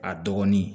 A dɔgɔnin